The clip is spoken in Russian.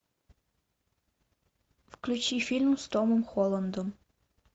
включи фильм с томом холландом